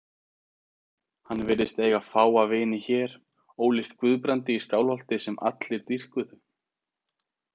Hann virðist eiga fáa vini hér, ólíkt Guðbrandi í Skálholti sem allir dýrkuðu.